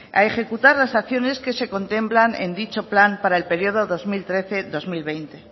a ejecutar las acciones que se contemplan en dicho plan para el periodo dos mil trece dos mil veinte